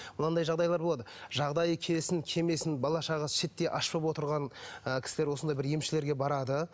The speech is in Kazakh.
мынандай жағдайлар болады жағдайы келсін келмесін бала шағасы шиеттей аш болып отырған ы кісілер осындай бір емшілерге барады